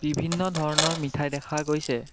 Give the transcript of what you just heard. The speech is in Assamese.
বিভিন্ন ধৰণৰ মিঠাই দেখা গৈছে।